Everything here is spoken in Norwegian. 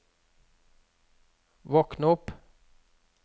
våkn opp